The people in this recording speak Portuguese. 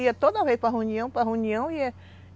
Ia toda vez para reunião, para reunião e ia.